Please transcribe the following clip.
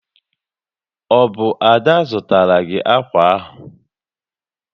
Ọ bụ Ada zụtara gị akwa ahụ?